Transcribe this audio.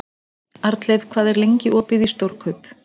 Arnleif, hvað er lengi opið í Stórkaup?